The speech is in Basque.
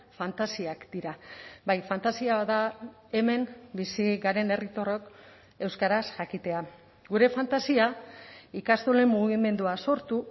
fantasiak dira bai fantasia bat da hemen bizi garen herritarrok euskaraz jakitea gure fantasia ikastolen mugimendua sortu